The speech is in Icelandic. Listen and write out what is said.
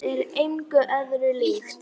Það er engu öðru líkt.